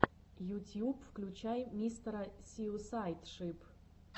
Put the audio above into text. ютьюб включай мистера суисайд шип